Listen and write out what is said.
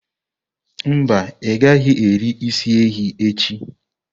Mba, ị gaghị eri isi ehi echi.